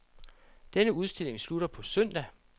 Denne udstilling slutter på søndag.